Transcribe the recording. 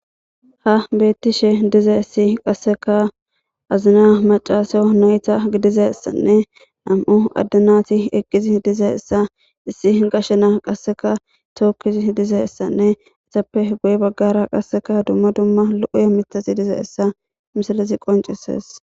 ha beettishe dize issi qasseka azina macaasao nayta gidize essanne nam7u addanati eqqizi dize issa issi gashena qasseka tookkizi dize issanne isappe goye baggara qasseka dumma dumma lo7uya mitasi dize issa misilizi qoncises